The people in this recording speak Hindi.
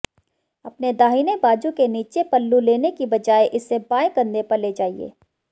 अपने दाहिने बाजू के नीचे पल्लू लेने की बजाय इसे बाएं कंधे पर ले जाइए